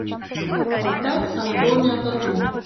поставь анатомия тату